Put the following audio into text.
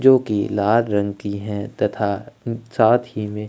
जो कि लाला रंग की है तथा साथ ही में--